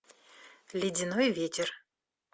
ледяной ветер